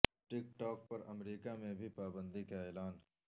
ٹک talk پر امریکہ میں بھی پابندی کا اعلان